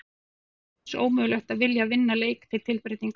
Er þér bara lífsins ómögulegt að vilja að vinna leik til tilbreytingar!?